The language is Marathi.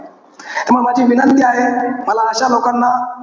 त्यामुळे माझी विनंती आहे, मला अशा लोकांना,